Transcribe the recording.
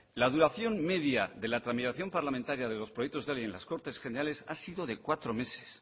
la duración media de la tramitación parlamentaria de los proyectos de ley en las cortes generales ha sido de cuatro meses